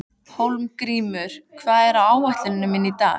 Hólmgrímur, hvað er á áætluninni minni í dag?